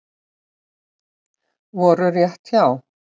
Voru rétt hjá